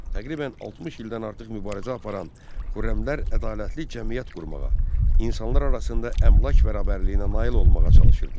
Təqribən 60 ildən artıq mübarizə aparan xürrəmlər ədalətli cəmiyyət qurmağa, insanlar arasında əmlak bərabərliyinə nail olmağa çalışırdılar.